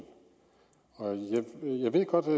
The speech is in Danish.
jeg ved godt at